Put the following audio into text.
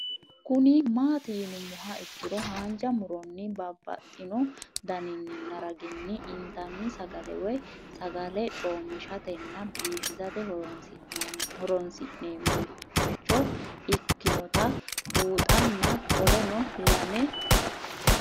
Kuni mati yinumoha ikiro hanja muroni babaxino daninina ragini intani sagale woyi sagali comishatenna bifisate horonsine'morich ikinota bunxana qoleno lame